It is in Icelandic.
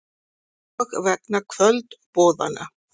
Og vegna kvöldboðanna.